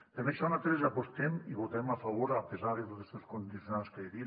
per això nosaltres hi apostem i hi votarem a favor a pesar dels condicionants que he dit